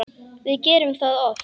Við gerum það oft.